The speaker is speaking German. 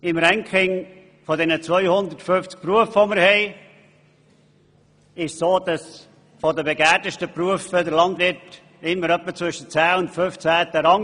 Im Ranking der 250 Berufe, die wir haben, liegt der Beruf des Landwirts immer etwa zwischen dem 10. und dem 15. Rang.